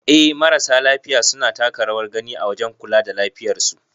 Eh marasa lafiya suna taka rawar gani a wajen kula da lafiyar su.